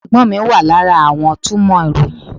Ẹ̀gbọ́n mi wà lára àwọn túmọ̀ ìròyìn.